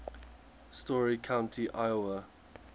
story county iowa